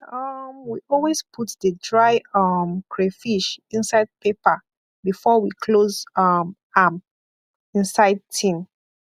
um we always put the dry um crayfish inside paper before we close um am inside tin